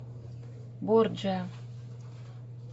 борджиа